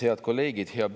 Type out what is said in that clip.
Head kolleegid!